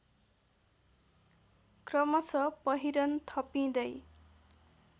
क्रमश पहिरन थपिँदै